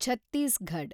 Chhattisgarh